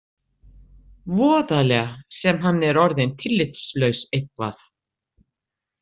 Voðalega sem hann er orðinn tillitslaus eitthvað.